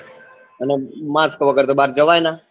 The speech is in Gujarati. અને mask વગર તો બાર જવાય નાં